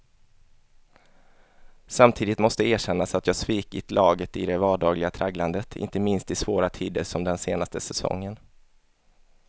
Samtidigt måste erkännas att jag svikit laget i det vardagliga tragglandet, inte minst i svåra tider som den senaste säsongen.